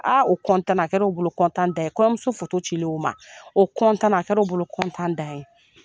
o na a kɛra u bolo dan ye kɔɲɔmuso cilen o ma o na a kɛra o bolo dan ye.